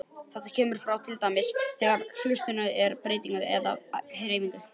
Þetta kemur fram til dæmis þegar hleðslurnar eru breytilegar eða á hreyfingu.